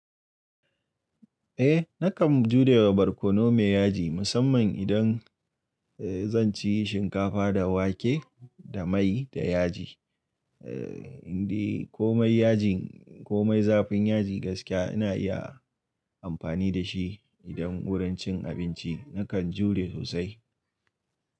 Eh nakan jurewa barkono mai yaji musamman idan eh zan ci shinkafa da wake da mai da yaji. Eh indi komai yajin komai zafin yaji gaskiya ina iya amfani da shi idan wurin cin abinci nakan jure sosai.